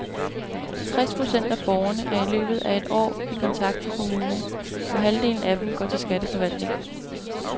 Tres procent af borgerne er i løbet af et år i kontakt med kommunen, og halvdelen af dem går til skatteforvaltningen.